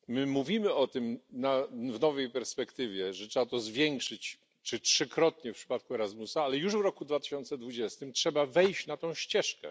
Mówimy o tym w nowej perspektywie, że trzeba to zwiększyć nawet trzykrotnie w przypadku Erasmusa ale już w roku 2020 trzeba wejść na tę ścieżkę.